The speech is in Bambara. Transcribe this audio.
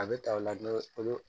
A bɛ ta o la kolo